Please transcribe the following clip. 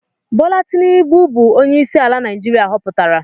Bola Tinubu bu onye isi ala Naijiria hoputara.